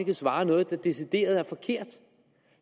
svarer noget der decideret